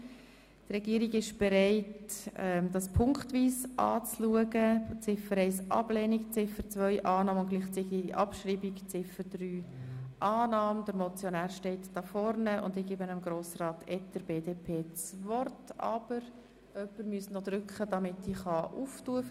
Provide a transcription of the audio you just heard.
Die Regierung ist bereit, diese ziffernweise anzuschauen und beantragt Ihnen Ziffer 1 abzulehnen, Ziffer 2 anzunehmen und gleichzeitig abzuschreiben und Ziffer 3 anzunehmen.